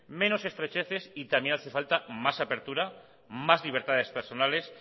menos estrecheces y también hace falta más apertura más libertades personales